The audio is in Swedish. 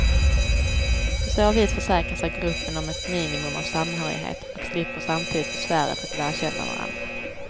På så vis försäkrar sig gruppen om ett minimum av samhörighet och slipper samtidigt besväret att lära känna varandra.